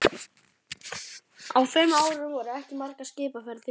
Á þeim árum voru ekki margar skipaferðir í